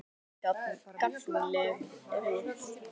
Gagnleg rit